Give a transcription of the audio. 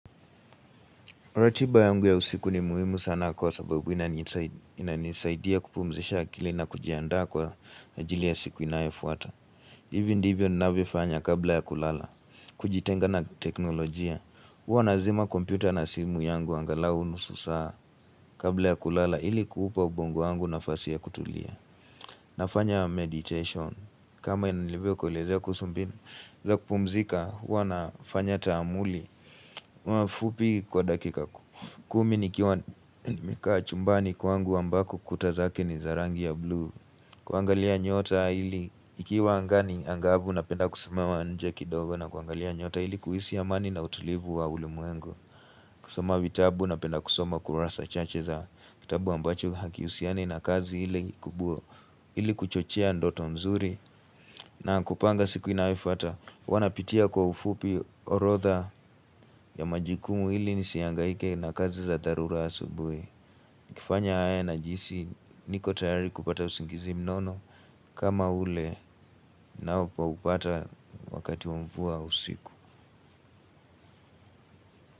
Ratiba yangu ya usiku ni muhimu sana kwa sababu inanisaidia kupumzisha akili na kujianda kwa ajili ya siku inaifuata. Ivi ndivyo ninawefanya kabla ya kulala. Kujitenga na teknolojia. Hwa nazima kompyuta na simu yangu angala unusu saa kabla ya kulala ili kuhupa ubongo yangu nafasia kutulia. Nafanya meditation. Kama inalivyo kulezea kusumbi za kupumzika huwa nafanya tamuli. Kwa fupi kwa dakika kumi ni kiwa mika chumbani kwangu ambako kutazake ni zarangi ya blue kuangalia nyota ili ikiwa angani angabu na penda kusamewa nje kidogo na kuangalia nyota ili kuhisi ya mani na utulivu wa ulu muengo kusoma vitabu na penda kusoma kurasa chache za kitabu ambacho hakiusiani na kazi ili kuchochia ndoto mzuri na kupanga siku inaifata wanapitia kwa ufupi orotha ya majikumu hili nisiangaike na kazi za darura asubwe kifanya haya najisi niko tayari kupata usingizi mnono kama ule na upa upata wakati wakati usiku.